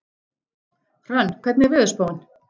Hrönn, hvernig er veðurspáin?